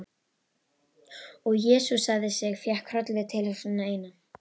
Og jesúsaði sig, fékk hroll við tilhugsunina eina.